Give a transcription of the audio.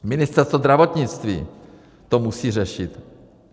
Ministerstvo zdravotnictví to musí řešit.